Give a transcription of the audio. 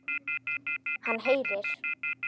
Hann heyrir.